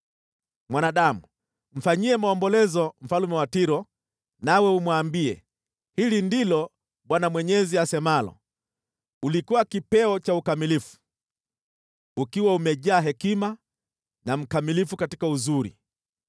“Mwanadamu, mfanyie maombolezo mfalme wa Tiro, nawe umwambie: ‘Hili ndilo Bwana Mwenyezi asemalo: “ ‘Ulikuwa kipeo cha ukamilifu, ukiwa umejaa hekima na mkamilifu katika uzuri.